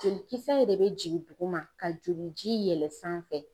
Jolikisɛ de be jigin duguma ka joliji yɛlɛ sanfɛ